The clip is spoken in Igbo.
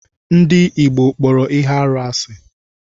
Ndị Igbo kpọrọ ihe arụ asị.